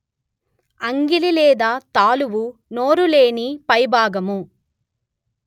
అంగిలి లేదా తాలువు నోరు లోని పైభాగము